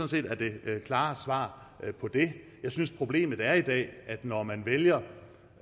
set er det klare svar på det jeg synes at problemet er at det når man vælger